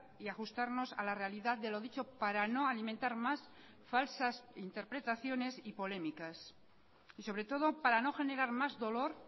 y ajustarnos a la realidad de lo dicho para no alimentar más falsas interpretaciones y polémicas y sobre todo para no generar más dolor